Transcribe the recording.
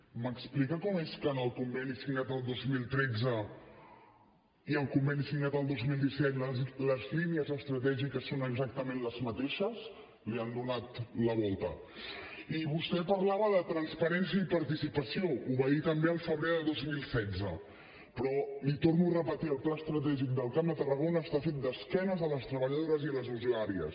m’explica com és que en el conveni signat el dos mil tretze i en el conveni signat el dos mil disset les línies estratègiques són exactament les mateixes li han donat la volta i vostè parlava de transparència i participació ho va dir també al febrer de dos mil setze però l’hi torno a repetir el pla estratègic del camp de tarragona està fet d’esquena a les treballadores i a les usuàries